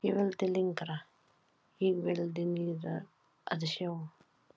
Ég vildi lengra. ég vildi niður að sjó.